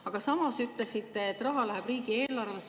Aga samas ütlesite, et raha läheb riigieelarvesse.